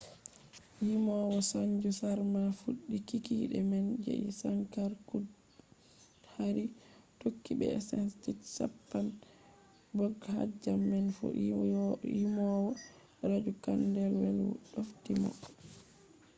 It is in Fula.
yimowo sanju sharma fuɗɗi kikiɗe man jai shankar choudhary tokki. be esented chhappan bhog bhajam man fu. yimowo raju khandelwal ɗofti mo